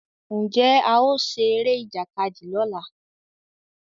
Njé ao ṣe Eré Ìjàkadì lọla?